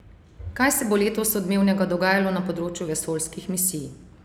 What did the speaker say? Kaj se bo letos odmevnega dogajalo na področju vesoljskih misij?